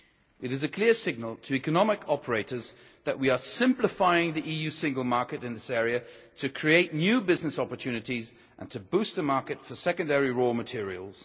It is a clear signal to economic operators that we are simplifying the EU single market in this area to create new business opportunities and to boost the market for secondary raw materials.